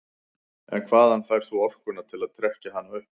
En hvaðan færð þú orkuna til að trekkja hana upp?